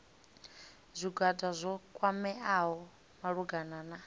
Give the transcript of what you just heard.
zwigwada zwo kwameaho malugana na